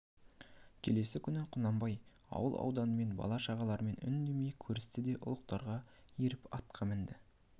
келесі күн құнанбай ауыл ауданымен бала-шағаларымен үндемей көрісті де ұлықтарға еріп атқа мінді